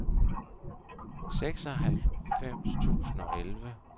seksoghalvfems tusind og elleve